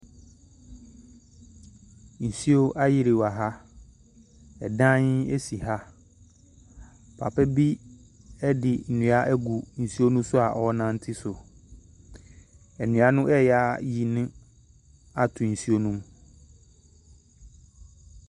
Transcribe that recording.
Nsuo ayiri wɔha. Ɛdan asi ha. Papa bi ɛde nnua agu nsuo no so a ɔnante so. Nnua no ɛyɛ ayɛ no ato nsuo no mu.